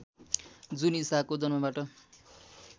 जुन ईसाको जन्मबाट